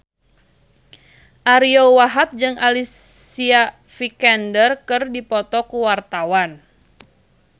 Ariyo Wahab jeung Alicia Vikander keur dipoto ku wartawan